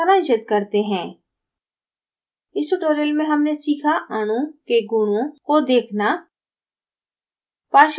इसे सारांशित करते हैं इस tutorial में हमने सीखा: अणु के गुणों को देखना